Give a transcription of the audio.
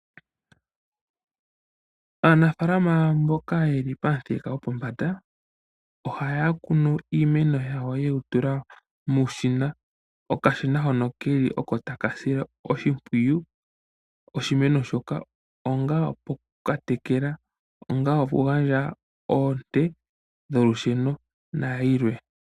Aanafalama mboka yeli pamuthika gwopombanda ohaya kunu iimeno yawo muushina mboka hawu kala tawu sile iimeno oshimpwiyu mokwiitekela nokukwiipa oonte dholusheno nayilwe.